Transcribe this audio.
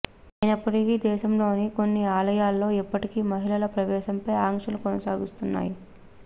అయినప్పటికీ దేశంలోని కొన్ని ఆలయాల్లో ఇప్పటికీ మహిళల ప్రవేశంపై ఆంక్షలు కొనసాగుతున్నాయి